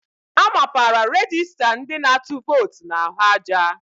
A mapara rejista ndị na-atụ vootu n'ahụ aja.